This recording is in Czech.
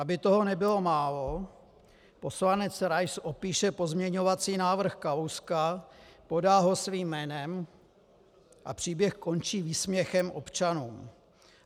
Aby toho nebylo málo, poslanec Rais opíše pozměňovací návrh Kalouska, podá ho svým jménem - a příběh končí výsměchem občanům.